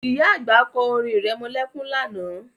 Ìyá àgbà kọ́ orin irẹmọlẹ́kún lánàá